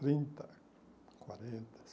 Trinta, quarenta,